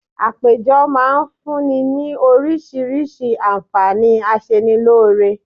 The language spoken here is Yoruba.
Àpéjọ máa fún ní ni oríṣiríṣi àǹfààní aṣenilóore